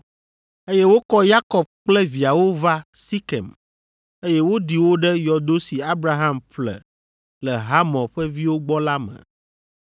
eye wokɔ Yakob kple viawo va Sikem, eye woɖi wo ɖe yɔdo si Abraham ƒle le Hamor ƒe viwo gbɔ la me.